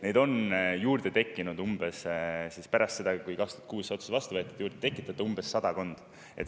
Neid on juurde tekkinud pärast seda, kui 2006 see otsus vastu võeti, sadakond.